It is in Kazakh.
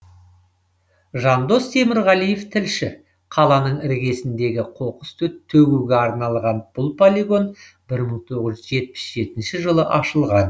жандос темірғалиев тілші қаланың іргесіндегі қоқыс төгуге арналған бұл полигон бір мың тоғыз жүз жетпіс жетінші жылы ашылған